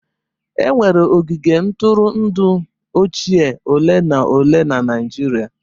E nwere ogige ntụrụndụ ochie ole na ole na Naịjirịa.